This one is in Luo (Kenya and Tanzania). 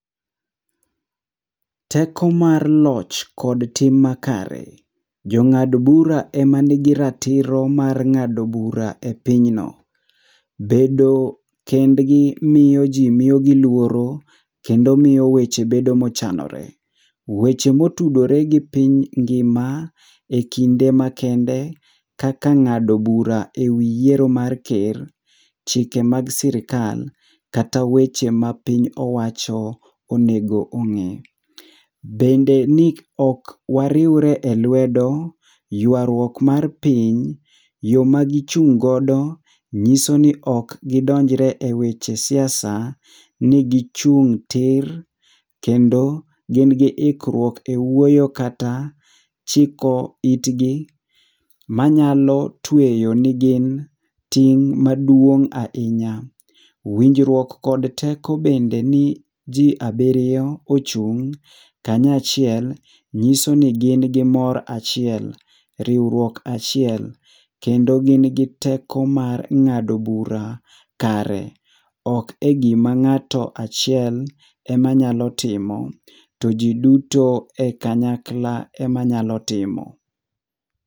Teko mar loch kod tim makare. Jong'ad bura ema nigi ratiro mar ng'ado bura e pinyno. Bedo kendgi miyo ji miyogi luoro kendo miyo weche bedo mochanore. Weche motudore gi piny ngima, ekinde makende kaka ng'ado bura ewi yiero mar ker, chike mag sirkal, kata weche ma piny owacho onego ong'e. Bende ni ok wariwre elwedo, ywaruok mar piny, yo ma gichung' godo nyiso ni ok gidonjre e weche siasa, ni gichung' tir kendo gin gi ikruok ewuoyo kata, chiko itgi manyalo tweyo ni gin ting' maduong' ahinya. Winjruok kod teko bende ni ji abiriyo ochung' kanyachiel, nyiso ni gin gimor achiel, riwruok achiel kendo gin gi teko mar ng'ado bura kare. Ok egima ng'ato achiel ema nyalo timo, to ji duto e kanyakla ema nyalo timo.